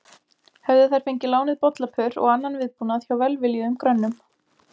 Höfðu þær fengið lánuð bollapör og annan viðbúnað hjá velviljuðum grönnum.